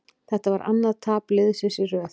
Þetta var annað tap liðsins í röð.